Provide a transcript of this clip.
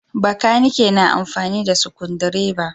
Bakanikai na amfani da sukundireba.